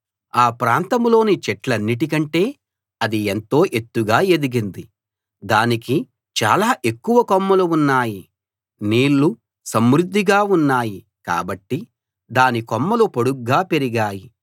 ఆ ప్రాంతంలోని చెట్లన్నిటి కంటే అది ఎంతో ఎత్తుగా ఎదిగింది దానికి చాలా ఎక్కువ కొమ్మలు ఉన్నాయి నీళ్ళు సమృద్ధిగా ఉన్నాయి కాబట్టి దాని కొమ్మలు పొడుగ్గా పెరిగాయి